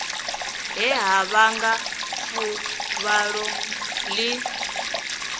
he ha vhanga fuvhalo ḽi